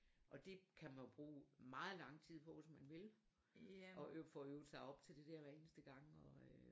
Og det kan man jo bruge meget lang tid på hvis man vil og få øvet sig op til det hver eneste gang og øh